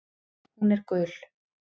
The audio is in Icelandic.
Hún er gul.